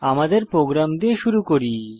আমাদের প্রোগ্রাম দিয়ে শুরু করি